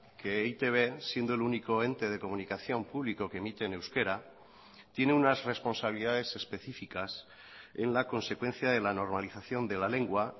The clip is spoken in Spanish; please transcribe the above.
que e i te be siendo el único ente de comunicación público que emite en euskera tiene unas responsabilidades específicas en la consecuencia de la normalización de la lengua